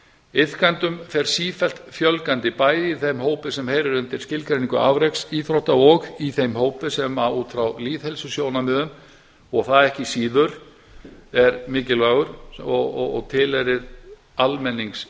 iðkendum fer sífellt fjölgandi bæði í þeim hópi sem heyrir undir skilgreiningu afreksíþrótta og í þeim hópi sem út frá lýðheilsusjónarmiðum og það ekki síður er mikilvægur og tilheyrir